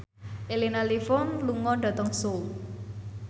Elena Levon lunga dhateng Seoul